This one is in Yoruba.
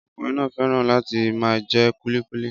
Ọkùnrin náà fẹ́ràn láti máa jẹ kulikuki